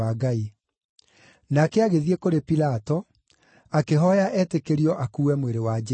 Nake agĩthiĩ kũrĩ Pilato, akĩhooya etĩkĩrio akuue mwĩrĩ wa Jesũ.